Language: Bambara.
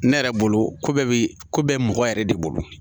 Ne yɛrɛ bolo ko bɛɛ bi ko bɛɛ mɔgɔ yɛrɛ de bolo